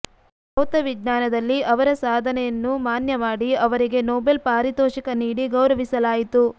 ಭೌತವಿಜ್ಞಾನದಲ್ಲಿ ಅವರ ಸಾಧನೆಯನ್ನು ಮಾನ್ಯ ಮಾಡಿ ಅವರಿಗೆ ನೊಬೆಲ್ ಪಾರಿತೋಷಿಕ ನೀಡಿ ಗೌರವಿಸಲಾಯಿತು